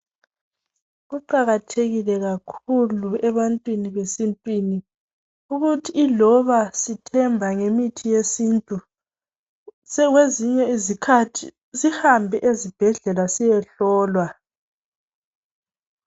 Kuqakathekile kakhulu ebantwini besintwini ukuthi iloba sithemba ngemithi yesintu kwezinye izikhathi sihambe ezibhedlela siyehlolwa.